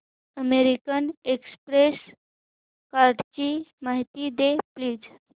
American express कार्डची माहिती दे प्लीज